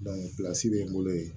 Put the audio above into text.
bɛ n bolo yen